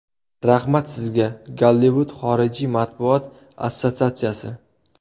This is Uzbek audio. Rahmat sizga, Gollivud xorijiy matbuot assotsiatsiyasi.